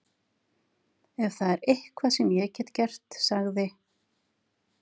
Ef það er eitthvað sem ég get gert sagði